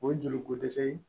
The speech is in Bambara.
O ye joli ko dɛsɛ ye